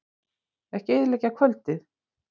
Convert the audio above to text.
Ekki eyðileggja kvöldið.